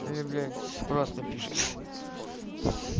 я являюсь просто пишет